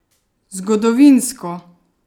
Zgodovinsko!